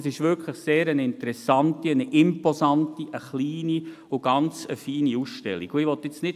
Es ist vielmehr eine wirklich sehr interessante und imposante, kleine und ganz feine Ausstellung.